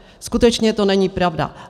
Skutečně to není pravda.